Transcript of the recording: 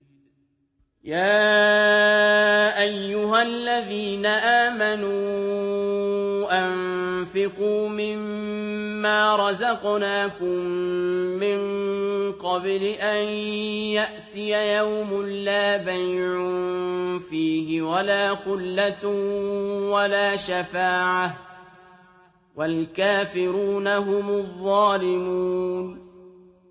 يَا أَيُّهَا الَّذِينَ آمَنُوا أَنفِقُوا مِمَّا رَزَقْنَاكُم مِّن قَبْلِ أَن يَأْتِيَ يَوْمٌ لَّا بَيْعٌ فِيهِ وَلَا خُلَّةٌ وَلَا شَفَاعَةٌ ۗ وَالْكَافِرُونَ هُمُ الظَّالِمُونَ